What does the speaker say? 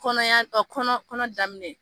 Kɔnɔya, ɔ kɔnɔ kɔnɔ daminɛ